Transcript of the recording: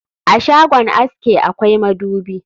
A shagon aske akwai madubi